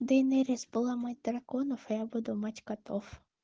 дейнерис была мать драконов а я буду мать котов